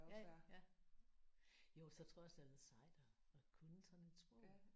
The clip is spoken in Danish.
Ja ja. Jo så tror jeg også det er lidt sejt at at kunne sådan et sprog